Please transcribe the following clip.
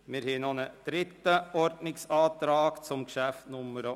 Wir haben noch einen dritten Ordnungsantrag zum Traktandum 79.